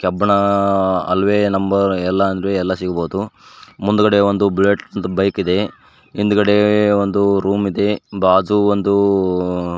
ಕಬ್ಬಣ ಅಲ್ವೇ ನಂಬರ್ ಎಲ್ಲಾ ಅಂದ್ರೆ ಎಲ್ಲಾ ಸಿಗಬೋದು ಮುಂದ್ಗಡೆ ಒಂದು ಬುಲೆಟ್ ಬೈಕ್ ಇದೆ ಹಿಂದ್ಗಡೆ ಒಂದು ರೂಮ್ ಇದೆ ಬಾಜು ಒಂದು --